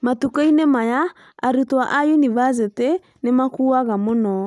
Matukũ-inĩ maya arutwo a yunivasĩtĩ nĩ makuaga mũno